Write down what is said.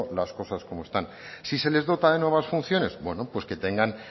las cosas como están si se les dota de nuevas funciones bueno pues que tengan